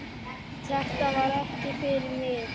Þetta var ekki fyrir mig